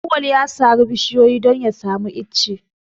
Auwal ya sare bishiyoyin don ya samu ice.